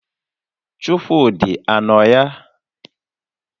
Chukwudị a nọ ya?